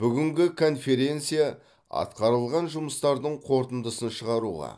бүгінгі конференция атқарылған жұмыстардың қорытындысын шығаруға